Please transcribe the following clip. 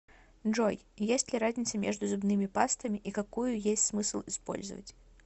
джой есть ли разница между зубными пастами и какую есть смысл использовать